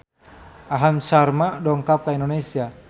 Aham Sharma dongkap ka Indonesia